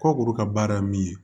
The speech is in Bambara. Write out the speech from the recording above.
Kɔkuru ka baara ye min ye